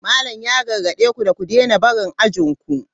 Malam ya gargade ku da ku daina barin ajin ku.